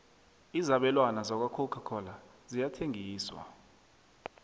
izabelwana zakwacoca cola ziyathengiswa